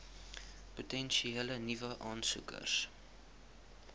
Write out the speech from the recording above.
potensiële nuwe aansoekers